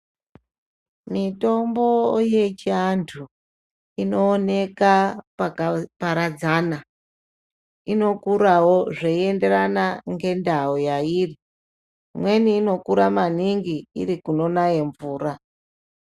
Mitombo yechiantu inooneka pakaparadzana. Inokurawo zveienderana ngendau yairi. Imweni inokura maningi iri kunonaye mvura.